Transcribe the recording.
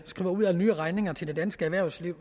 dansk erhvervsliv